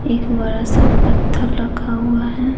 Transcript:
एक बड़ा सा पत्थर रखा हुआ है।